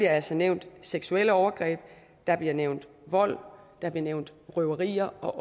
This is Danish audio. altså nævnt seksuelle overgreb der bliver nævnt vold der bliver nævnt røverier og